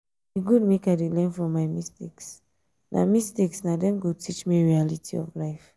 e good make i dey learn from my mistakes na mistakes na dem go teach me reality of life.